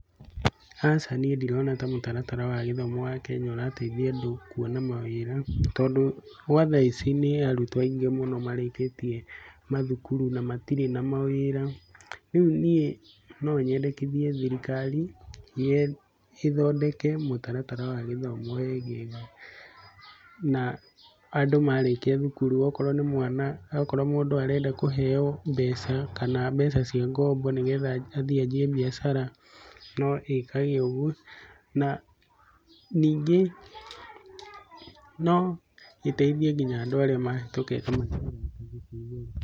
Aca niĩ ndirona ta mũtaratara wa gĩthomo wa Kenya ta ũrateithia andũ kuona mawĩra. Tondũ gwa thaa ici nĩ arutwo aingĩ mũno marĩkĩtie mathukuru na matirĩ na mawĩra. Rĩu niĩ no nyendekithie thirikari ĩthondeke mũtaratara wa gĩthomo wegega. Na andũ marĩkia thukuru okorwo nĩ mwana, okorwo mũndũ arenda kũheo mbeca kana mbeca cia ngombo, nĩ getha athiĩ anjie mbiacara no ĩkage ũguo. Na ningĩ no ĩteithie nginya andũ arĩa mahĩtũkĩte mathukuru.